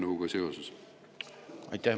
Aitäh!